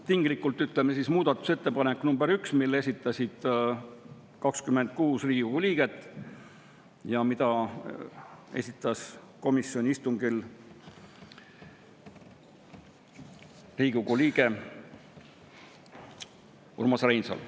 Tinglikult, ütleme siis, muudatusettepanek nr 1, mille esitasid 26 Riigikogu liiget ja mida komisjoni istungil oli tutvustanud Riigikogu liige Urmas Reinsalu.